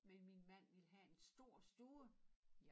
Men min mand ville have en stor stue